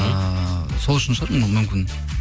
ыыы сол үшін шығар мүмкін